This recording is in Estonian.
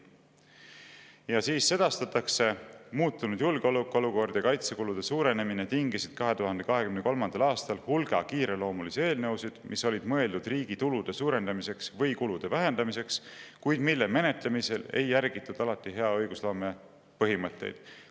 Ja siis sedastatakse: "Muutunud julgeolekuolukord ja kaitsekulude suurenemine tingisid 2023. aastal hulga kiireloomulisi eelnõusid, mis olid mõeldud riigi tulude suurendamiseks või kulude vähendamiseks, kuid mille menetlemisel ei järgitud alati hea õigusloome põhimõtteid.